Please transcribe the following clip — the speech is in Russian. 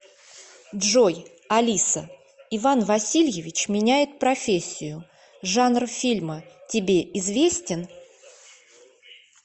джой алиса иван васильевич меняет профессию жанр фильма тебе известен